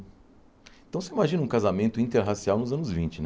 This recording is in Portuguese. Então, você imagina um casamento interracial nos anos vinte, né?